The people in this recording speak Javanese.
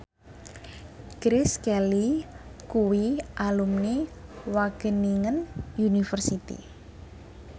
Grace Kelly kuwi alumni Wageningen University